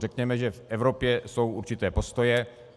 Řekněme, že v Evropě jsou určité postoje.